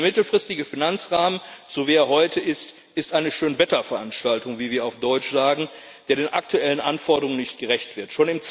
Denn der mittelfristige Finanzrahmen, wie er heute ist, ist eine Schönwetterveranstaltung wie wir auf Deutsch sagen die den aktuellen Anforderungen nicht gerecht wird.